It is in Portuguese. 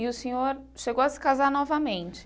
E o senhor chegou a se casar novamente?